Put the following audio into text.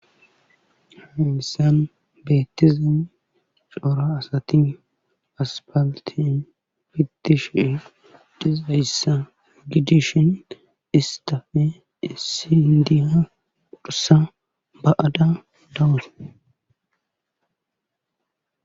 Hanissan beettizam coora asati aspaliti fitishe dizayssa gidishin istafe issi hindina pudhusa ba7ada dawuse.